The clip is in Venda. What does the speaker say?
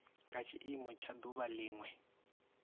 nga tshiimo tsha duvha linwe